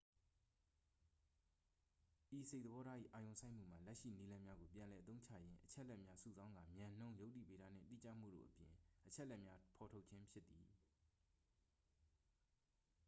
ဤစိတ်သဘောထား၏ အာရုံစိုက်မှုမှာ လက်ရှိနည်းလမ်းများကို ပြန်လည်အသုံးချရင်း အချက်အလက်များ စုဆောင်းကာ မြန်နှုန်း ယုတ္တိဗေဒနှင့် တိကျမှုတို့အပြင် အချက်လက်များ ဖော်ထုတ်ခြင်း ဖြစ်သည်